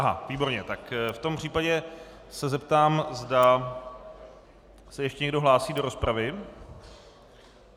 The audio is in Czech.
Aha, výborně, tak v tom případě se zeptám, zda se ještě někdo hlásí do rozpravy.